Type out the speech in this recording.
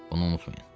Onu unutmayın.